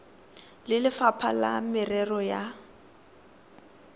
le lefapha la merero ya